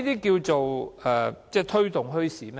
這就是推動墟市嗎？